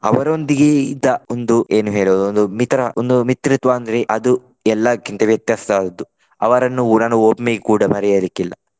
ಅವರೊಂದಿಗೆ ಇದ್ದ ಒಂದು ಏನು ಹೇಳುವುದು ಒಂದು ಮಿತ್ರ ಒಂದು ಮಿತ್ರತ್ವ ಅಂದ್ರೆ ಅದು ಎಲ್ಲಾಕ್ಕಿಂತ ವ್ಯತ್ಯಾಸ ಹೌದು. ಅವರನ್ನು ಇವರನ್ನು ಒಮ್ಮೆಗೆ ಕೂಡ ಮರೆಯಲಿಕ್ಕೆ ಇಲ್ಲ.